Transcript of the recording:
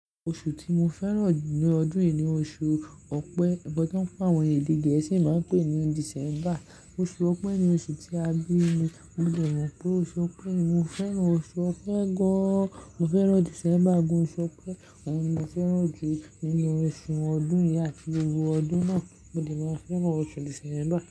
Oṣù tí mo fẹ́ràn jù ní ọdún yìí ni oṣù Ọ̀pẹ. Nkan tán tí àwọn èdè Gẹ̀ẹ́sì máa ń pè ní December. Oṣù Ọ̀pẹ ni oṣù tí a bí mi. Mo lè mọ̀ pé oṣù Ọ̀pẹ ni. Mo fẹ́ràn oṣù Ọ̀pẹ gan-an. Mo fẹ́ràn December gan. Oṣù Ọ̀pẹ, òun ni mo fẹ́ràn jù nínú oṣù ọdún yìí àti gbogbo ọdún náà. Mo lè máa fẹ́ràn oṣù December.